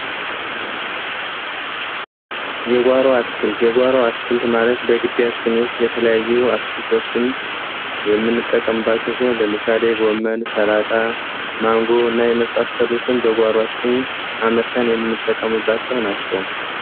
የጓሮ አትክልት የጓሮ አትክልት ማለት በግቢያችን ውስጥ የተለያዩ አትክልቶችን በምንጠቀምባቸው ሲሆን፤ ለምሳሌ ጎመን፣ ሰላጣ፣ ማንጎ እና የመሳሰሉትን በጓሯችን አምርተን የምንጠቀምባቸው ናቸው።